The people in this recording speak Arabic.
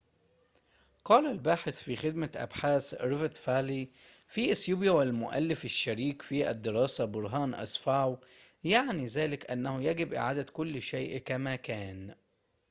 قال الباحث في خدمة أبحاث ريفت فالي في إثيوبيا والمؤلف الشريك في الدراسة، برهان أسفاو":-"يعني ذلك أنه يجب إعادة كل شيء كما كان